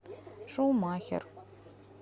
шумахер